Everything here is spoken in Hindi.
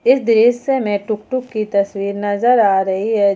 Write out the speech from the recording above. इस दृश्य में टुकटुक की तस्वीर नजर आ रही है।